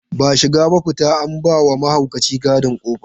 Ba shiga ba fita, an ba wa mahaukaci gadi ƙofa.